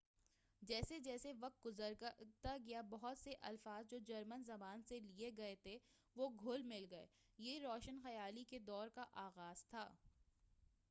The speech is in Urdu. جیسے جیسے وقت گزرتا گیا بہت سے الفاظ جو جرمن زبان سے لیے گئے تھے وہ گھل مل گئے یہ روشن خیالی کے دور کا آغاز تھا